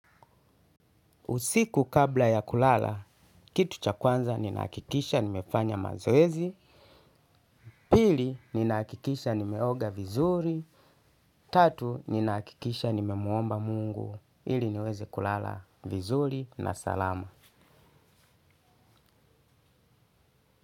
Usiku kabla ya kulala kitu cha kwanza nahakikisha nimefanya mazoezi pili nimeoga vizuri tatu ninahakikisha nimemuomba mungu ili niweze kulala salama.